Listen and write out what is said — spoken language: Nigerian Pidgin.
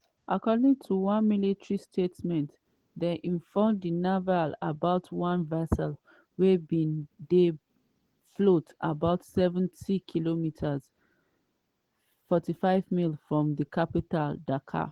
according to one military statement dem inform di navy about one vessel wey bin dey float about 70km (45 miles) from di capital dakar.